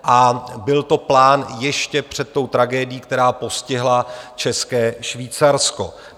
A byl to plán ještě před tou tragédií, která postihla České Švýcarsko.